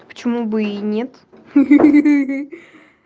почему бы и нет